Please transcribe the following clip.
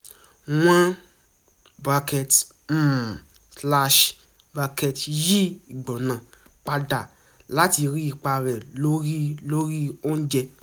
wọ́n um yí ìgbóná padà láti rí ipa rẹ̀ lórí lórí oúnjẹ